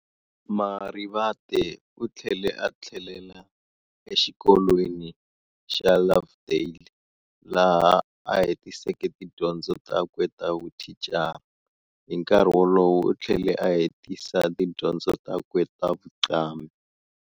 Marivate uthlele a thlelela exikolweni xa Lovedale, laha a hetiseke tidyondzo takwe tavuthicara, hinkarhi wolowo uthlele a hetisa tidyondzo takwe ta vuqambhi.